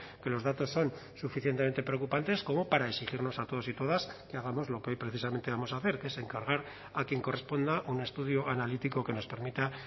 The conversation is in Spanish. que los datos son suficientemente preocupantes como para exigirnos a todos y todas que hagamos lo que hoy precisamente vamos a hacer que es encargar a quien corresponda un estudio analítico que nos permita